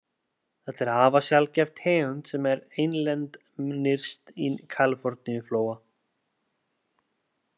Þetta er afar sjaldgæf tegund sem er einlend nyrst í Kaliforníuflóa.